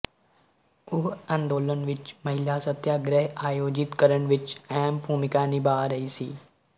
ਉਹ ਅੰਦੋਲਨ ਵਿੱਚ ਮਹਿਲਾ ਸੱਤਿਆਗ੍ਰਹਿ ਆਯੋਜਿਤ ਕਰਨ ਵਿੱਚ ਅਹਿਮ ਭੂਮਿਕਾ ਨਿਭਾਅ ਰਹੀ ਸੀ